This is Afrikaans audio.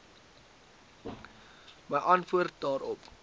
my antwoord daarop